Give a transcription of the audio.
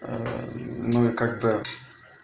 ну и когда